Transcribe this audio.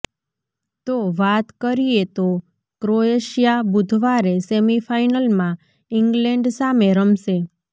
તો વાત કરીએ તો ક્રોએશિયા બુધવારે સેમિફાઇનલમાં ઇંગ્લેન્ડ સામે રમશે